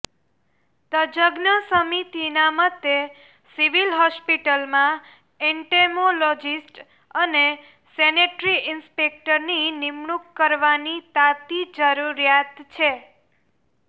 તજજ્ઞ સમિતિના મતે સિવિલ હોસ્પિટલમાં એન્ટેમોલોજિસ્ટ અને સેનેટરી ઈન્સ્પેક્ટરની નિમણૂક કરવાની તાતી જરૂરિયાત છે